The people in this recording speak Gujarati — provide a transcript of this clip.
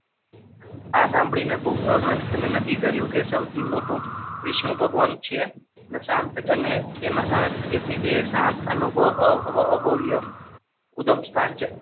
આ સાંભળીને અનંત પહેલા નક્કી કર્યું કે સૌથી મોટું વિષ્ણુ ભગવાનનું છે અને સાર્થક અને તેના તેથી તે શાર્ક અનુભવ્યું.